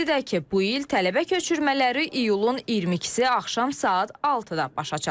Qeyd edək ki, bu il tələbə köçürmələri iyulun 22-si axşam saat 6-da başa çatacaq.